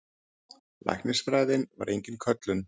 Læknisfræðin var engin köllun.